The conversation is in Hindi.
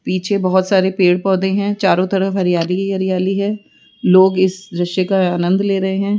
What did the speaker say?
पीछे बहोत सारे पेड़ पौधे है चारों तरफ हरियाली ही हरियाली है लोग इस दृश्य का आनंद ले रहे है।